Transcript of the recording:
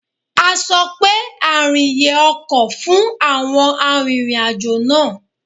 A sọ pé àrìnyè ọkọ̀ fún àwọn arìnrìn-àjò náà.